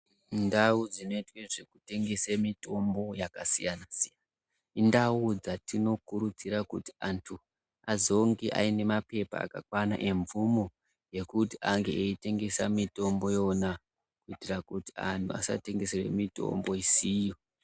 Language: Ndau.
Ndau dzinoite zvekutengese mitombo yakasiyana-siyana, indau dzatinokurudzira kuti antu azonge aine maphepa akakwana emvumo yekuti ange eitengesa mitombo iyona kuitira kuti antu asatengese mitombo isiyo.